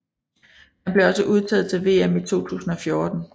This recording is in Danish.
Han blev også udtaget til VM i 2014